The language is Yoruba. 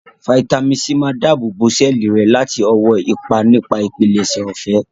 Fáítámì sí máa dáàbò sẹ́ẹ̀lì rẹ láti ọwọ́ ipa nipa ìpilẹ̀ṣẹ̀ ọ̀fẹ́